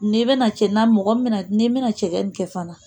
N'i bɛna cɛ, mɔgɔ min bɛna cɛgɛ nin kɛ fana